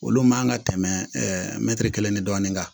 Olu man kan ka tɛmɛ mɛtiri kelen ni dɔɔnin kan